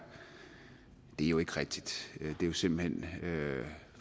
jo ikke rigtigt det er jo simpelt hen